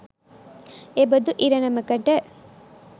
එබදු ඉරණමකට